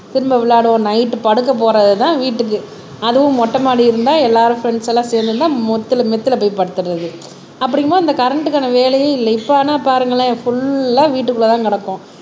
திரும்ப விளையாடுவோம் நைட் படுக்க போறதுதான் வீட்டுக்கு அதுவும் மொட்டை மாடி இருந்தா எல்லாரும் ப்ரேண்ட்ஸ் எல்லாம் சேர்ந்து இருந்தா முத்துல மெத்துல போய் படுத்தறது அப்படிங்கும்போது அந்த கரண்ட்க்கான வேலையே இல்லை இப்ப ஆனா பாருங்களேன் ஃபுல் வீட்டுக்குள்ளதான் கிடப்போம்